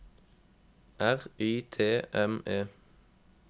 R Y T M E